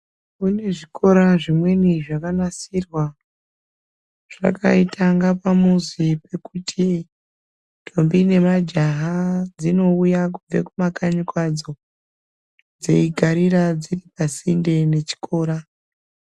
Kune zvikora zvimweni zvakanasirwa zvakaita kungaa pamuzi pekuti ntombi nemajaha dzinouya kubve kumakanyi kwadzo dzeigarira dziri pasinte nechikora.